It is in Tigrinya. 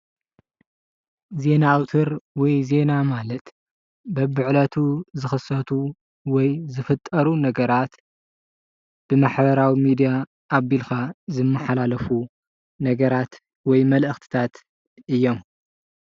ዜና ኣወታ ር ወይ ዜና ማለት በቢዕለቱ ዝኽሰቱ ወይ ዝፍጠሩን ነገራት ብማሕበራዊ ሚድያ ኣቢልካ ዝመሓላለፉ ነገራት ወይ መልእኸተታት እዮም።